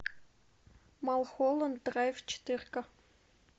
малхолланд драйв четырка